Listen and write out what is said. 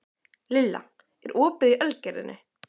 Lilla, er opið í Ölgerðinni?